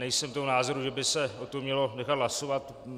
Nejsem toho názoru, že by se o tom mělo nechat hlasovat.